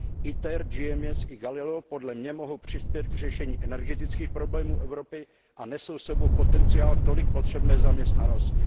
ITER, GMES i Galileo podle mě mohou přispět k řešení energetických problémů Evropy a nesou s sebou potenciál tolik potřebné zaměstnanosti.